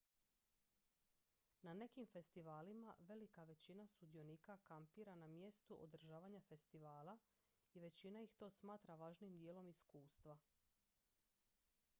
na nekim festivalima velika većina sudionika kampira na mjestu održavanja festivala i većina ih to smatra važnim dijelom iskustva